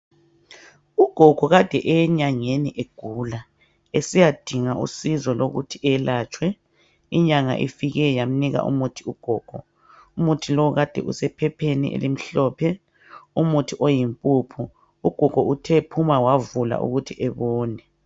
ugogo kade eyenyangeni egula esiyadinga usizo lokuthi elatshwe inyanga ifike yamnika umuthi ugogo umuthi lowu kade usephepheni elimhlophe umuthi oyimpuphu uthe ephuma wavula ukuthi ebone